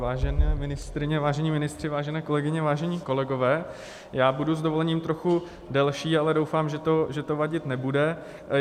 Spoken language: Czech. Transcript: Vážené ministryně, vážení ministři, vážené kolegyně, vážení kolegové, já budu s dovolením trochu delší, ale doufám, že to vadit nebude.